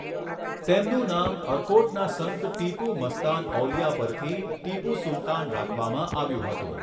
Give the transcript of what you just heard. તેમનું નામ અર્કોટના સંત ટીપુ મસ્તાન ઔલિયા પરથી ટીપુ સુલતાન રાખવામાં આવ્યું હતું.